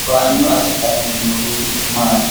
Towaanyo assitanni noori maati?